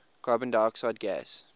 carbon dioxide gas